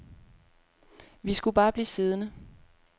Vi skulle bare blive siddende.